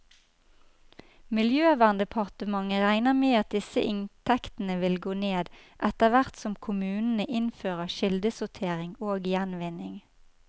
Miljøverndepartementet regner med at disse inntektene vil gå ned, etterhvert som kommunene innfører kildesortering og gjenvinning.